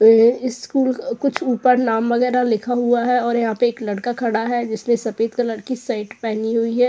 ये स्कूल कुछ ऊपर नाम वगैरह लिखा हुआ है और यहाँ पे एक लड़का खड़ा है। जिसने सफेद कलर की शर्ट पहनी हुई है।